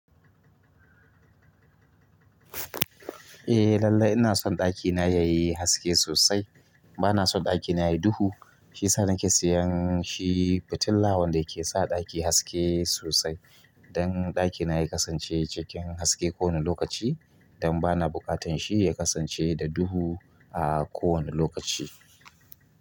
Eh lallai ina son ɗakina yayi haske sosai. Bana son ɗakina yayi duhu. Shiyasa nake sayan shi fitila wanda yake sa ɗaki haske sosai don ɗakina ya kasance cikin haske ko wane lokaci, don bana buƙatan shi ya kasance da duhu a kowane lokaci.